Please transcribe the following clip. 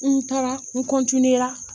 N taara n